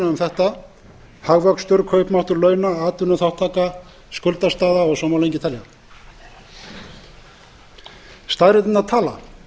um þetta hagvöxtur kaupmáttur launa atvinnuþátttaka skuldastaða og svo má lengi telja staðreyndirnar tala